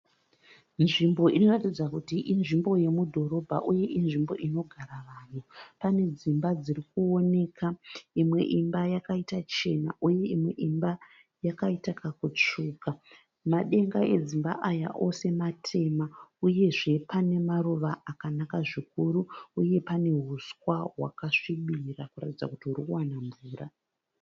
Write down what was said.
Nzvimbo inoratidza kuti inzvimbo yomudhorobha uye inzvimbo inogara vanhu. Pane dzimba dziri kuonekwa. Imwe imba yakaita chena uye imwe imba yakaita kakutsvuka. Madenga edzimba aya ose matema uyezve pane maruva akanaka zvikuru uye pane uswa hwakasvibira kuratidza kuti huri kuwana mvura.